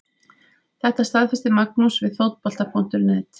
Þetta staðfesti Magnús við Fótbolta.net.